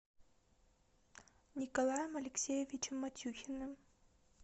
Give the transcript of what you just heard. николаем алексеевичем матюхиным